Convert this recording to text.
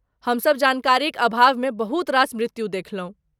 हमसभ जानकारीक अभावमे बहुत रास मृत्यु देखलहुँ।